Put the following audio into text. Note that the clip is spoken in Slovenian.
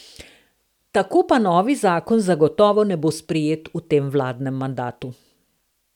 Tako pa novi zakon zagotovo ne bo sprejet v tem vladnem mandatu.